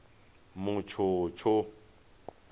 mutshutshu